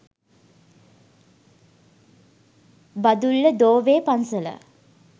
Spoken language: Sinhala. බදුල්ල දෝවේ පන්සල